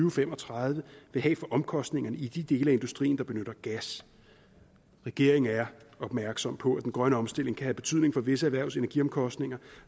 og fem og tredive vil have for omkostningerne i de dele af industrien der benytter gas regeringen er opmærksom på at den grønne omstilling kan have betydning for visse erhvervs energiomkostninger